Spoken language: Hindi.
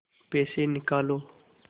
पैसे निकालो